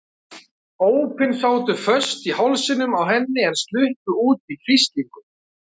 Ópin sátu föst í hálsinum á henni en sluppu út í hvíslingum.